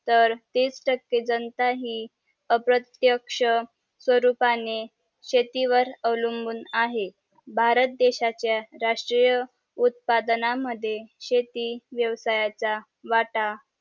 तर तीस टके जनता हि अप्रत्येक्ष स्वरूपाने शेतीवर अवलंबून आहे भारतदेशाचा राष्ट्रीय उत्पादना मद्ये शेती व्यवसायाचा वाटा